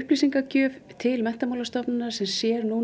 upplýsingagjöf til Menntamálastofnunar sem sér núna